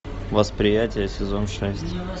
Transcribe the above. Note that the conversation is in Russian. восприятие сезон шесть